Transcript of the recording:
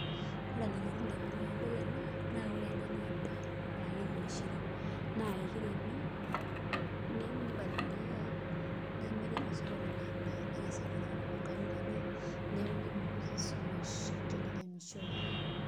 Ore enalotu indamunot tenadol ena naa ore ena naa endaa aa ekeji mishiri naa ekiremi nipaliliai nemiri tosokoni ena endaa nenya sii iltung'anak tiatua nkang'itie enye, neeku kipunguza esumash teniremishoi.